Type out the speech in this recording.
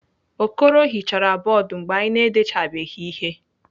Okoro hichara bọọdụ mgbe anyị na-edechabeghị ihe.